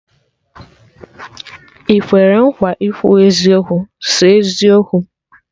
Ị kwere nkwa ikwu eziokwu, sọ eziokwu?